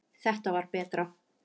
Þetta var betra.